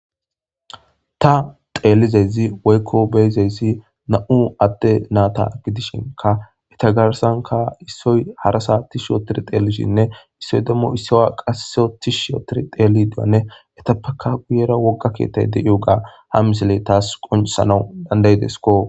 ta xeelizezi woykko beyzeyssi na7u adde naata gidishinka eta garsanka issoy harasa ti shootir xeelishinne issoy demmo issowa qasseotih sootiri teeli diwanne etappaka guyera wogga keettay deio gaa ha misiley taas qonsana dandayidesko